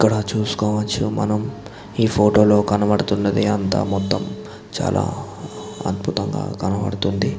ఇక్కడ చూస్కోవచ్చు మనము ఈ ఫోటో లో కనపడుతున్నది అంత మొత్తం చాల అద్భుతంగా కనపడుతుంది.